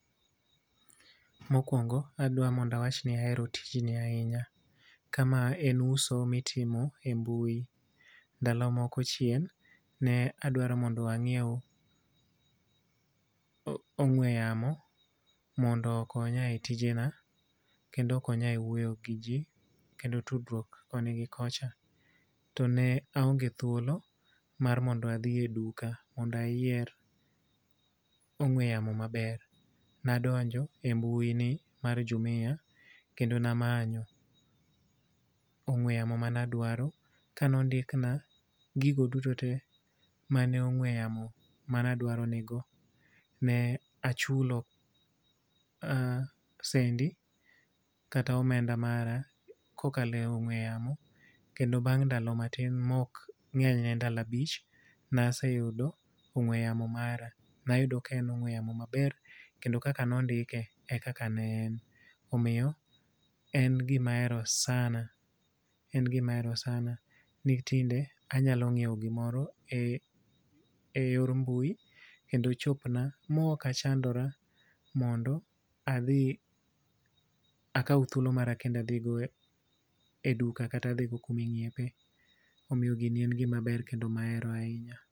Mokwongo adwa ni mondo awachni ahero tijni ahinya. Ka ma en uso ma itimo ei mbui. Ndalo moko chien, ne adwaro mondo angíew, o ong'we yamo mondo okonya e tijena, kendo okonya e wuoyo gi ji, kendo tudruok koni gi kocha. To ne aonge thuolo mar mondo adhi e duka, mondo ayier ong'we yamo maber. Nadonjo e mbui ni mar Jumia, kendo ne amanyo ong'we yamo mane adwaro ka ne ondikna gigo duto te mane ong'we yamo mane adwaro nigo, ne achulo um sendi kata omenda mara ka okalo e ong'we yamo. Kendo bang' ndalo matin ma ok ngény ne ndalo abich ne aseyudo ong'we yamo mara. Ne ayudo ka en ong'we yamo maber, kendo kaka ne ondike e kaka ne en. Omiyo en gima ahero sana. En gima ahero sana. Ni tinde anyalo nyiewo gimoro e, ei, yor mbui, kendo chopna ma ok achandora mondo adhi, akaw thuolo mara kendo adhi go e duka kata adhi go kuma inyiepe. Omiyo gini en gima ber, kendo ahero ahinya.